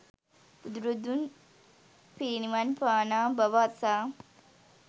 බුදුරදුන් පිරිනිවන් පානා බව අසා